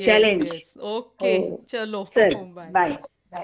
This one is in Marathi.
अं कसकाय गं?